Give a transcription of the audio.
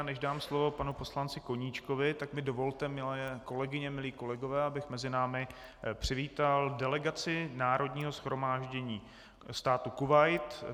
A než dám slovo panu poslanci Koníčkovi, tak mi dovolte, milé kolegyně, milí kolegové, abych mezi námi přivítal delegaci Národního shromáždění státu Kuvajt.